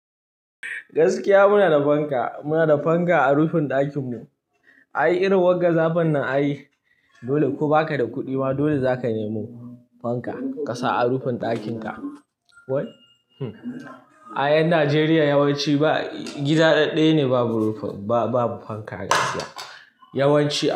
Gaskiya muna da fanka, muna da fanka a rufin ɗakin mu. Ai irin wanzan zafin nan ai, dole ko baka da kuɗi ma dole zaka nemo fanka ka sa a rufin ɗakin ka. Wai ai yan Najeriya yawanci ba, gida dadɗaya ne babu fanka gaskiya. Yawanci.